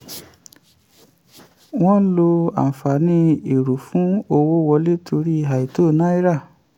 wọ́n ń lo àǹfààní èrò fún owó wọlé torí àìtó náírà.